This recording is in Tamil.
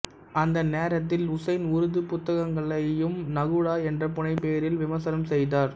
அந்த நேரத்தில் உசைன் உருது புத்தகங்களையும் நகுடா என்ற புனைப் பெயரில் விமர்சனம் செய்தார்